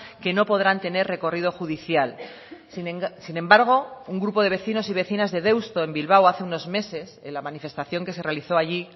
que no podrán tener recorrido judicial sin embargo un grupo de vecinos y vecinas de deusto en bilbao hace unos meses en la manifestación que se realizó allí